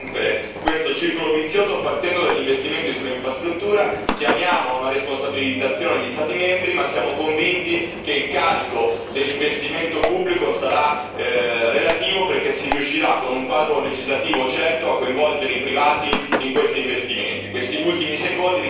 Abbiamo deciso di rompere questo circolo vizioso partendo dagli investimenti sull'infrastruttura, chiamiamo gli Stati membri ad una responsabilizzazione, ma siamo convinti che il carico dell'investimento pubblico sarà relativo perché si riuscirà, con un quadro legislativo certo, a coinvolgere i privati in questi investimenti.